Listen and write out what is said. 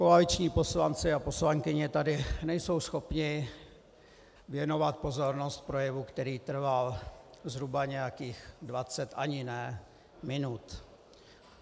Koaliční poslanci a poslankyně tady nejsou schopni věnovat pozornost projevu, který trval zhruba nějakých dvacet - ani ne - minut.